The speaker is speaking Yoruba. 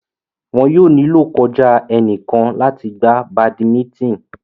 Wọn yóò nílò kọjá ẹnìkan láti gbá badimítìn